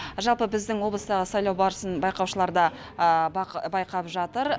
жалпы біздің облыстағы сайлау барысын байқаушылар да байқап жатыр